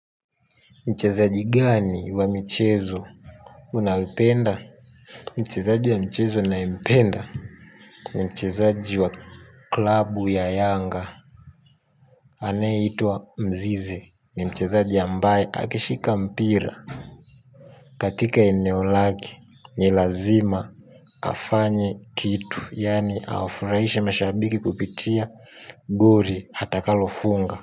Mchezaji gani wa michezo? Unayopenda? Mchezaji wa mchezo ninaempenda. Ni mchezaji wa klabu ya yanga. Anayeitwa Mzize. Ni mchezaji ambaye akishika mpira. Katika eneo lake ni lazima afanye kitu. Yani awafurahishe mashabiki kupitia goli atakalofunga.